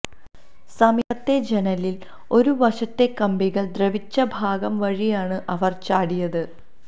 സമീപത്തെ ജനലിൽ ഒരു വശത്തെ കമ്പികൾ ദ്രവിച്ച ഭാഗം വഴിയാണ് അവർ ചാടിയത്